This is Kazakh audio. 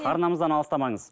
арнамыздан алсыстамаңыз